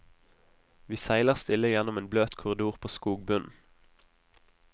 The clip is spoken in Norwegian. Vi seiler stille gjennom en bløt korridor på skogbunnen.